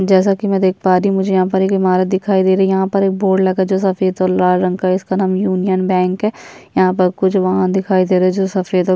जैसा कि मैं देख पा रही मुझे यहाँ पर एक इमारत दिखाई दे रही यहाँ पर बोर्ड लगा जो सफेद और लाल रंग का इसका नाम यूनियन बैंक यहाँ प कुछ वहां दिखाई दे रहे जो सफेद और --